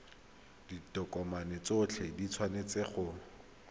ditokomane tsotlhe di tshwanetse go